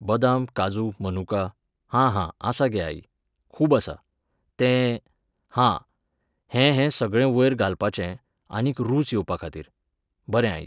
बदाम काजू मनुका, हां हां आसा गे आई, खूब आसा. तें.. हां.. हें हें सगळें वयर घालपाचें आनीक रूच येवपा खातीर. बरें आई